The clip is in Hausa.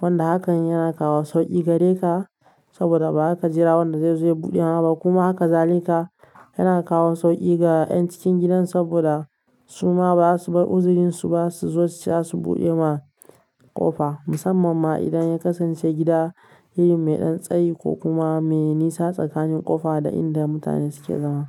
Wanda hakan yana kawo sauƙi gare ka saboda ba za ka jira wanda zai zo ya buɗe ma ba kuma haka zali ka yana kawo sauƙi ga ƴan cikin gidan saboda su ma ba za su bar uzurinsu ba su zo su ce dasu ma buɗe ma ƙofa. Musamman ma idan ya kasance gida irin mai ɗan tsayi ko kuma mai nisa tsakanin ƙofa da inda mutane suke zama.